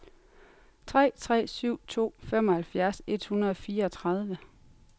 tre tre syv to femoghalvfjerds et hundrede og fireogtredive